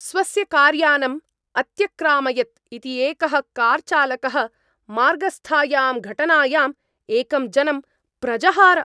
स्वस्य कार्यानम् अत्यक्रामयत् इति एकः कार्चालकः मार्गस्थायां घटनायाम् एकं जनं प्रजहार।